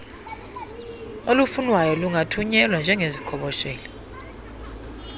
olufunwayo lungathunyelwa njengeziqhoboshelo